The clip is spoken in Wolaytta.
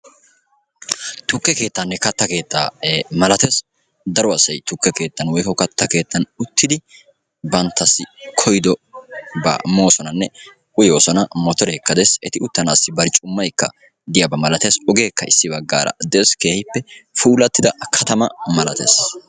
tukke keettaanne malatees. daro asati tukke keettaa matan motoriya bollan de'iyaageeti interneetiyaa go'etoosona.